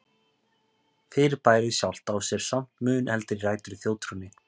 Fyrirbærið sjálft á sér samt mun eldri rætur í þjóðtrúnni.